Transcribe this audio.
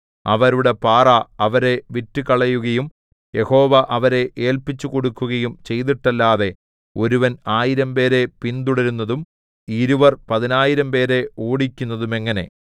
അവരുടെ പാറ അവരെ വിറ്റുകളയുകയും യഹോവ അവരെ ഏല്പിച്ചുകൊടുക്കുകയും ചെയ്തിട്ടല്ലാതെ ഒരുവൻ ആയിരംപേരെ പിന്തുടരുന്നതും ഇരുവർ പതിനായിരംപേരെ ഓടിക്കുന്നതുമെങ്ങനെ